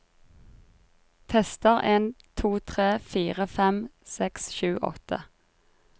Tester en to tre fire fem seks sju åtte